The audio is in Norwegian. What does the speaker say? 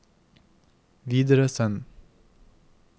videresend